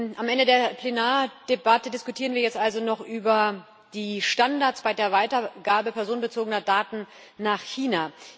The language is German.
Am Ende der Plenardebatte diskutieren wir jetzt also noch über die Standards bei der Weitergabe personenbezogener Daten nach China.